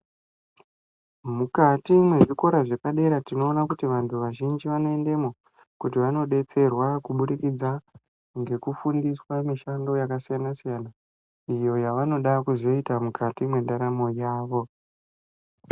Mukati mwezvikora zvepadera tinoona kuti vantu vazhinji vanoendemwo kuti vanobetserwa kubudikidza ngekufundiswa mushando yakasiyana-siyana, iyo yavanoda kuzoita mukati mendaramo yavo.